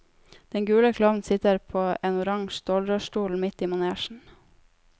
Den gule klovnen sitter på en oransje stålrørsstol midt i manesjen.